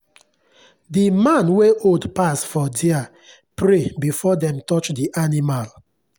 the man wey old pass for there pray before them touch the animal